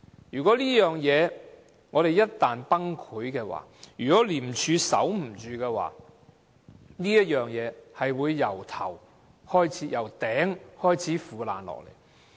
如果這事一旦崩潰，如果廉署守不着，會從頂部開始腐爛下來。